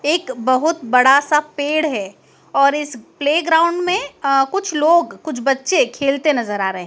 एक बहोत बड़ा सा पेड़ है और इस प्लेग्राउंड में अ कुछ लोग कुछ बच्चे खेलते नजर आ रहें--